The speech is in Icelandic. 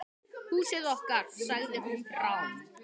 Húsið okkar.- sagði hún rám.